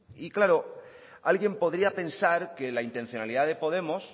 y claro alguien podría pensar que la intencionalidad de podemos